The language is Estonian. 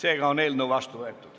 Eelnõu on vastu võetud.